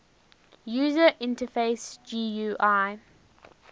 user interface gui